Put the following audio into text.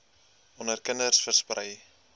onder kinders versprei